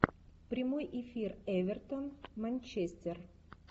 прямой эфир эвертон манчестер